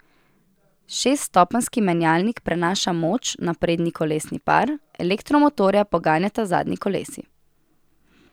Šeststopenjski menjalnik prenaša moč na prednji kolesni par, elektromotorja poganjata zadnji kolesi.